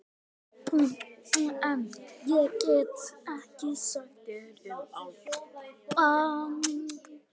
En- ég get ekkert sagt þér um álfa.